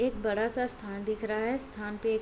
एक बड़ा सा स्थान दिख रहा है स्थान पे --